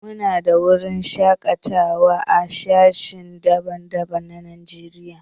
Mu na da wuraren shakatawa a sashi daban-daban na Najeriya.